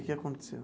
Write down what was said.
O que aconteceu?